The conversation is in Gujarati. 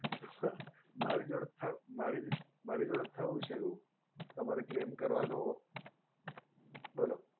મારી જોડે મારી જોડે થ થયું છે એવું તમારે claim કરવાનો બોલો